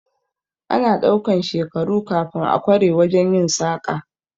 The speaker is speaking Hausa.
Ana ɗaukan shekaru kafin a kware wajen yin saƙa